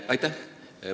Aitäh!